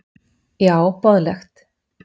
Já óboðlegt!